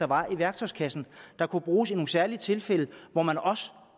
var i værktøjskassen der kunne bruges i nogle særlige tilfælde hvor man også